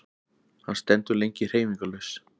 Hann stendur lengi hreyfingarlaus.